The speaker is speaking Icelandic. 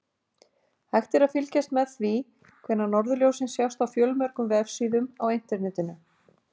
Hægt er að fylgjast með því hvenær norðurljósin sjást á fjölmörgum vefsíðum á Internetinu.